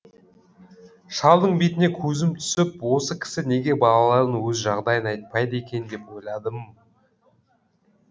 шалдың бетіне көзім түсіп осы кісі неге балаларын өз жағдайын айтпайды екен деп ойладым